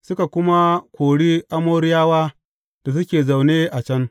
suka kuma kori Amoriyawa da suke zaune a can.